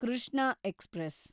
Krishna express